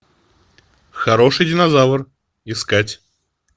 хороший динозавр искать